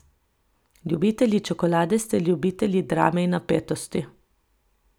Ljubitelji čokolade ste ljubitelji drame in napetosti.